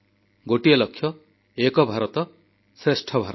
ଗୋଟିଏ ଲକ୍ଷ୍ୟ ଏକ ଭାରତ ଶ୍ରେଷ୍ଠ ଭାରତ